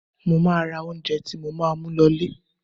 Mo máa ra oúnjẹ tí mo máa mú lọ ilẹ̀.